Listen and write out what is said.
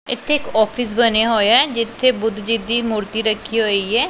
ਇੱਥੇ ਇੱਕ ਔਫਿਸ ਬਣਿਆ ਹੋਇਆ ਐ ਜਿੱਥੇ ਬੁੱਧ ਜੀ ਦੀ ਮੂਰਤੀ ਰੱਖੀ ਹੋਈ ਏ।